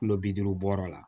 Kulo bi duuru wɔɔrɔ la